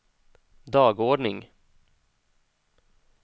dagordning